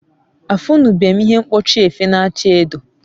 afunube m ihe mkpochi efe na acha edo